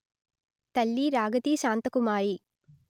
తల్లి రాగతి శాంతకుమారి